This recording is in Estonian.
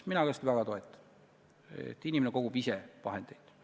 Ka mina toetan seda väga, et inimene kogub ise endale vahendid.